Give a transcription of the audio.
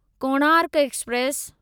Konark express